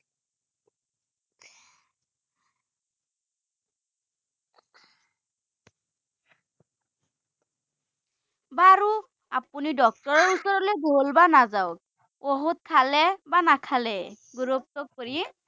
আপুনি doctor ওচৰলে গ’ল বা নাজাওঁক, ঔষধ খালে বা নাাখালে,